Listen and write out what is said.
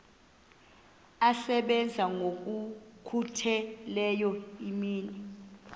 asebenza ngokokhutheleyo imini